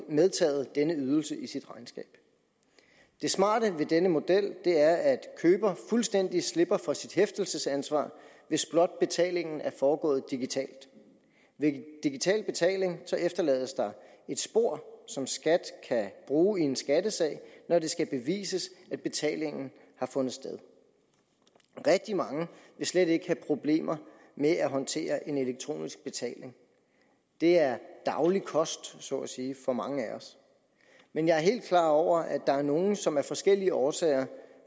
medtaget denne ydelse i sit regnskab det smarte ved denne model er at køber fuldstændig slipper for sit hæftelsesansvar hvis blot betalingen er foregået digitalt ved digital betaling efterlades der et spor som skat kan bruge i en skattesag når det skal bevises at betalingen har fundet sted rigtig mange vil slet ikke have problemer med at håndtere en elektronisk betaling det er daglig kost så at sige for mange af os men jeg er helt klar over at der er nogle som af forskellige årsager